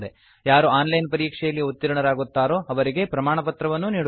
ಯಾರು online ಪರೀಕ್ಷೆಯಲ್ಲಿ ಉತ್ತೀರ್ಣರಾಗುತ್ತಾರೋ ಅವರಿಗೆ ಪ್ರಮಾಣಪತ್ರವನ್ನೂ ನೀಡುತ್ತದೆ